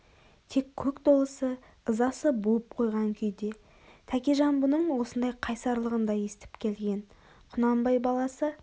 тек көк долысы ызасы буып қойған күйде тәкежан бұның осындай қайсарлығын да есітіп келген құнанбай баласы